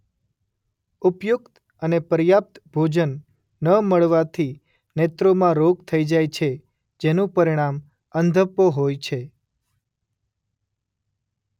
ઉપયુક્ત અને પર્યાપ્ત ભોજન ન મળવાથી નેત્રોમાં રોગ થઈ જાય છે જેનું પરિણામ અંધપો હોય છે.